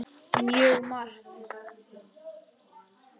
Mjög margt.